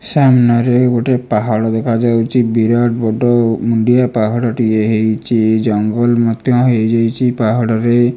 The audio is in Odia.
ସାମ୍ନାରେ ଗୋଟିଏ ପାହାଡ଼ ଦେଖାଯାଉଚି। ବିରାଟ ବଡ଼ ମୁଣ୍ଡିଆ ପାହାଡ଼ଟିଏ ହେଇଚି। ଏଇ ଜଙ୍ଗଲ ମଧ୍ୟ ହେଇଯାଇଚି ପାହାଡ଼ରେ।